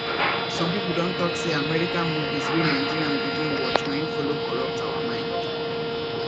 some people don talk say american movies wey nigerians begin watch na him follow corrupt our mind